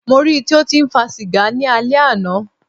Mó rí í tí o tí ń fa sìgá ni alẹ́ àná.